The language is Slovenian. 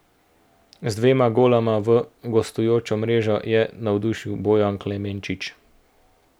Z dvema goloma v gostujočo mrežo je navdušil Bojan Klemenčič.